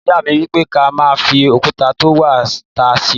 Ìyá mi wípè; kà má fi òkútà to wà tá ṣẹrẹ.